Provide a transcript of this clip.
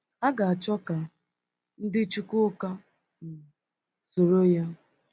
A ga-achọ ka ndị Chukwuka soro ya?